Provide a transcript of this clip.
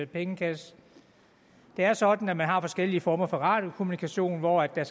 pengekasse det er sådan at man har forskellige former for radiokommunikation hvor der